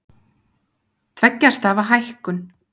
Tveggja stafa hækkun